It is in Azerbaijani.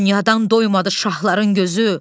Dünyadan doymadı şahların gözü.